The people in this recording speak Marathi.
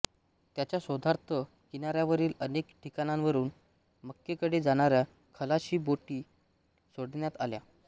त्याच्या शोधार्थ किनाऱ्यावरील अनेक ठिकाणांवरून मक्केकडे जाणाऱ्या खलाशी बोटी सोडण्यात आल्या